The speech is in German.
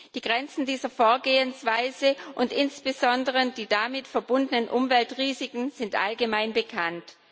Die Grenzen dieser Vorgehensweise und insbesondere die damit verbundenen Umweltrisiken sind allgemein bekannt.